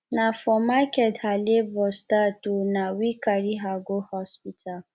na for market her labor start o na we carry her go hospital